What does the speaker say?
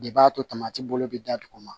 De b'a tomati bolo bɛ da duguma